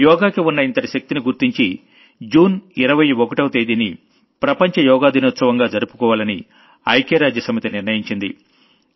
యోగాకి ఉన్న ఇంతటి శక్తిని గుర్తించి జూన్ 21వ తేదీని ప్రపంచ యోగా దినోత్సవంగా జరుపుకోవాలని ఐక్యరాజ్య సమితి నిర్ణయించింది